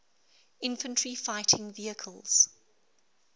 infantry fighting vehicles